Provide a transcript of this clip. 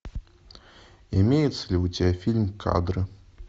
имеется ли у тебя фильм кадры